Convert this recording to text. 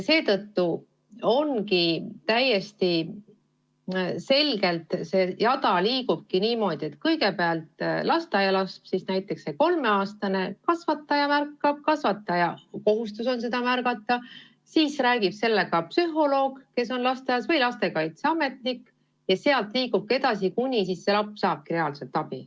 Seetõttu see jada liigubki täiesti selgelt niimoodi, et kõigepealt märkab lasteaialast, näiteks seda kolmeaastast, kasvataja, tema kohustus on seda märgata, seejärel räägib lapsega psühholoog, kes on lasteaias, või lastekaitseametnik ja sealt liigub see asi edasi, kuni laps saabki reaalselt abi.